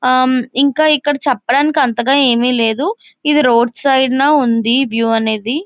ఆహ్ ఇంకా ఇక్కడ చెప్పడానికి అంతాగా ఏమి లేదు ఇది రోడ్ సైడ్ నా ఉంది వ్యూ అనేది.